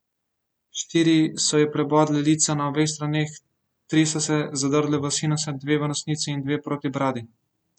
Štiri so ji prebodle lica na obeh straneh, tri so se zadrle v sinuse, dve v nosnici in dve proti bradi.